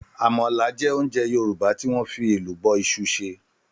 Àmàlà jẹ́ oúnjẹ Yòrùbá tí wọ́n fi Ẹ̀lùbọ́ isu se.